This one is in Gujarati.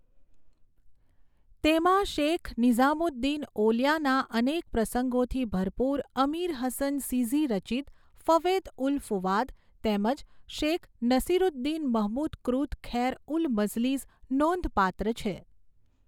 તેમાં શેખ નિઝામુદ્દીન ઓલિયાના અનેક પ્રસંગોથી ભરપુર અમીર હસન સિઝી રચિત ફવૈદઉલ ફુઆદ તેમજ શેખ નસીરૂદ્દીન મહમૂદ કૃત ખૈર ઉલ મઝલીસ નોંધપાત્ર છે.